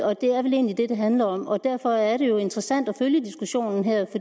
og det er vel egentlig det det handler om om derfor er det jo interessant at følge diskussionen her